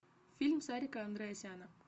фильм сарика андреасяна